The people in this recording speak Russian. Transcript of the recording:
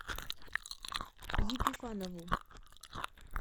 епифанову